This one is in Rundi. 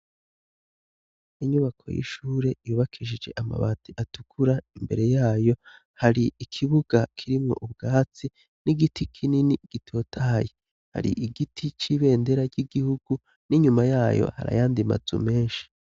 Inyubako y'ishure yubakishije amabati atukura, imbere yayo hari ikibuga kirimwo ubwatsi n'igiti kinini gitotahaye, hari igiti c'ibendera ry'igihugu n'inyuma yayo hari ayandi mazu menshi.